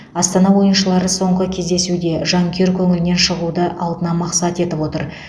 астана ойыншылары соңғы кездесуде жанкүйер көңілінен шығуды алдына мақсат етіп отыр